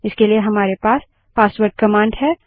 इसके लिए हमारे पास पासवाद कमांड है